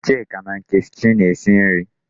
Chika na Nkechi na-esi nri